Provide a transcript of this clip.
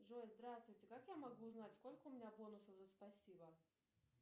джой здравствуйте как я могу узнать сколько у меня бонусов за спасибо